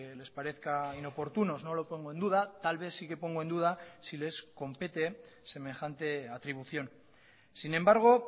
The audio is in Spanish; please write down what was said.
les parezca inoportunos no lo pongo en duda tal vez sí que pongo en duda si les compete semejante atribución sin embargo